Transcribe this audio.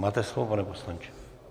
Máte slovo, pane poslanče.